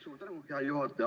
Suur tänu, hea juhataja!